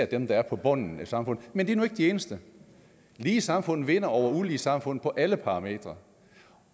dem der er på bunden af et samfund men det er nu ikke det eneste lige samfund vinder over ulige samfund på alle parametre